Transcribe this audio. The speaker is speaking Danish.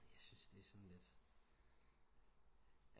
Jeg syntes det er sådan lidt